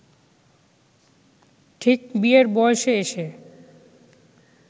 ঠিক বিয়ের বয়সে এসে